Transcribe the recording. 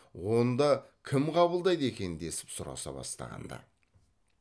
онда кім қабылдайды екен десіп сұраса бастаған ды